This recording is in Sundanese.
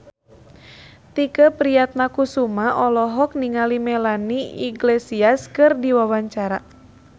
Tike Priatnakusuma olohok ningali Melanie Iglesias keur diwawancara